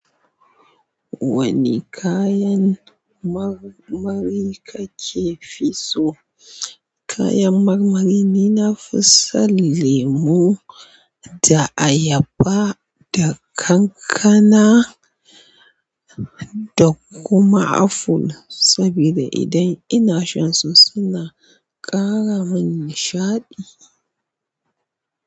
Wani kayan marmari kake fi so? Kayan marmari ni nafi son lemu da ayaba da kankana da kuma aful sabida idan ina shan su suna ƙara mun nishaɗi.